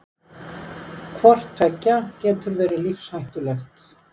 Hvort tveggja getur verið lífshættulegt.